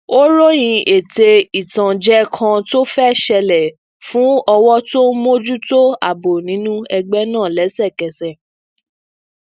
ó ròyìn ète ìtànjẹ kan to fẹ ṣẹlẹ fun ọwọ to n mojuto ààbò ninu ẹgbẹ náà lẹsẹkẹsẹ